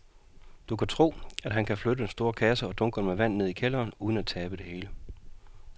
Tror du, at han kan flytte den store kasse og dunkene med vand ned i kælderen uden at tabe det hele?